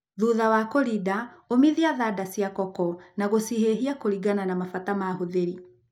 Thutha wa kũrinda ũmithia thanda cia koko na gucihĩhia kũringana na mabata ma ahuthĩri.